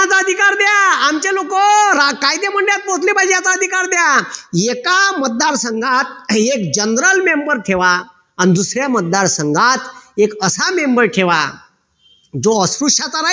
कायदेमंडळात पोहोचली पाहिजे याचा अधिकार द्या एका मतदार संघात एक general member ठेवा अन दुसऱ्या मतदार संघात एक असा member ठेवा जो अस्पृश्याच्या